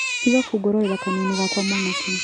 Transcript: Tiga kũngororera kanua-inĩ gakwa mwanake.